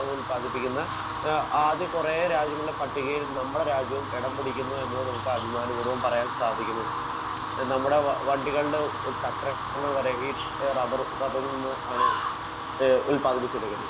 Speaker 1 ഉൽപ്പാദിപ്പിക്കുന്ന ആദ്യ കുറേ രാജ്യങ്ങളുടെ പട്ടികയിൽ നമ്മുടെ രാജ്യവും എടം പിടിക്കുന്നുവെന്ന് നമുക്ക് അഭിമാന പൂർവ്വം പറയാൻ സാധിക്കുന്നു. നമ്മുടെ ഏഹ് വണ്ടികളുടെ ചക്രങ്ങൾ വരെ ഈ റബർ റബർ കൊണ്ട് ആണ് ഏഹ് ഉൽപ്പാദിപ്പിച്ചെടുക്കുന്നത്.